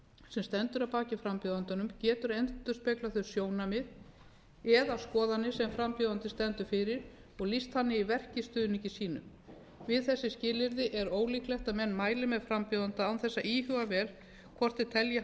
sem stendur að baki frambjóðandanum getur endurspeglað þau sjónarmið eða skoðanir sem frambjóðandinn stendur fyrir og lýst þannig í verki stuðningi sínum við þessi skilyrði er ólíklegt að menn mæli með frambjóðanda án þess að íhuga vel hvort þeir telji